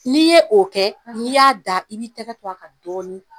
N'i ye o kɛ, n'i y'a da. I b'i tɛgɛ to a kan dɔɔni